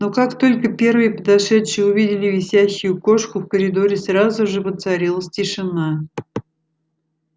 но как только первые подошедшие увидели висящую кошку в коридоре сразу же воцарилась тишина